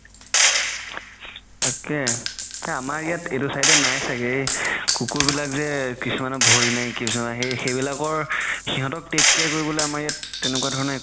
তাকেই আমাৰ ইয়াত এইটো side য়ে নাই ছাগে এই কুকুৰ বিলাক যে কিছুমানৰ ভৰি নাই কিছুমানৰ সেইবিলাকৰ সিহতক take care কৰিবলৈ আমাৰ ইয়াত তেনেকুৱা ধৰণৰ